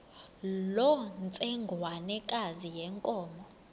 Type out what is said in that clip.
loo ntsengwanekazi yenkomo